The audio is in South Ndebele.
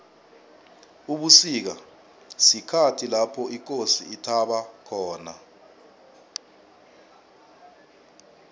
ubusika sikhathi lapho ikosi ithaba khona